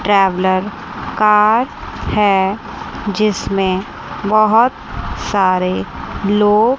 traveller car है जिसमें बहुत सारे लोग--